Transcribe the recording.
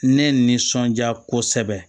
Ne nisɔndiya kosɛbɛ